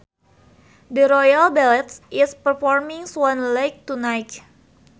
The Royal Ballet is performing Swan Lake tonight